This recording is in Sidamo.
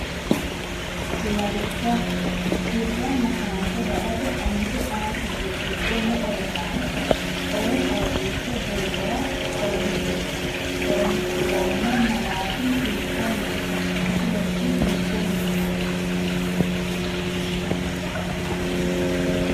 Lawishsha • Birranna saante badate Onte ‘A’ kifile giddo me”e rosaano no? coy fooliishsho jeefora horoonsi’roommo malaati hiikkonneeti? Kifilekki hittenneeti?